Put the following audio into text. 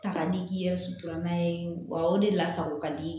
Ta ka di k'i yɛrɛ sutura n'a ye wa o de la sago ka di